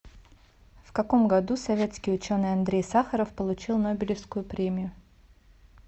в каком году советский ученый андрей сахаров получил нобелевскую премию